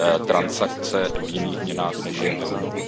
transakce v jiných měnách, než je euro.